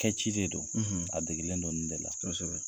Kɛ ci de don, , a degelen don nin de la.